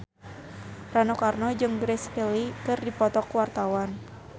Rano Karno jeung Grace Kelly keur dipoto ku wartawan